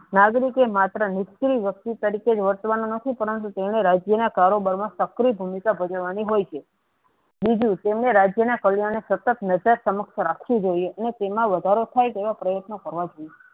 નાગરિકો માત્ર્ર નિષ્ક્રિય વસ્તુ તરીકે વટવાનો નથી પણ તેના રાજ્ય ના કારોબાર મા શક્ય ભૂમિકા ભોગવાની હોય છે બીજું તેમને રાજ્ય ના પરિણામે સતત સમત રાખું જોયીયે અને તેમાં વધારો થાય તેવા પ્રત્યન કરવો જોયીયે.